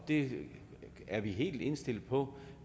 det er vi helt indstillet på